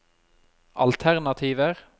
alternativer